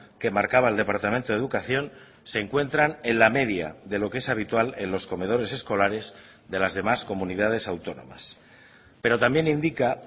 que marcaba el departamento de educación se encuentran en la media de lo que es habitual en los comedores escolares de las demás comunidades autónomas pero también indica